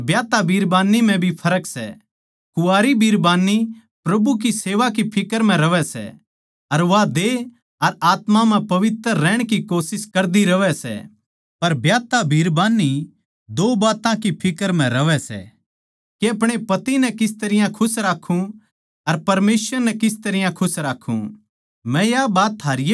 कुँवारी अर ब्याहता बिरबान्नी म्ह भी फर्क सै कुँवारी बिरबान्नी प्रभु की सेवा की फिक्र म्ह रहवै सै अर वा देह अर आत्मा म्ह पवित्र रहण की कोशिश करदी रहवै सै पर ब्याहता बिरबान्नी दो बात्तां की फिक्र म्ह रहवै सै के अपणे पति नै किस तरियां खुश राक्खूँ अर परमेसवर नै किस तरियां खुश राक्खूँ